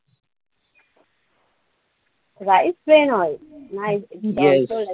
Rice brand oil nice?